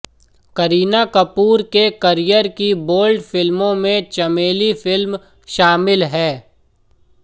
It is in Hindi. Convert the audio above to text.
करीना कपूर के करियर की बोल्ड फिल्मों में चमेली फिल्म शामिल है